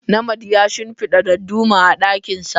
Nnamdi ya shimfida darduma a dakinsa.